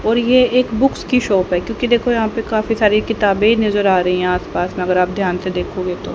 और ये एक बुक्स की शॉप है क्योंकि देखो यहां पर काफी सारी किताबें नजर आ रही हैं आस पास मगर आप ध्यान से देखोगे तो--